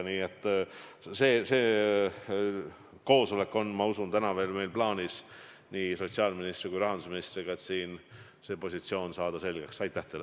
Nii et see koosolek on täna veel, ma usun, plaanis nii sotsiaalministri kui ka rahandusministriga, et see positsioon selgeks saada.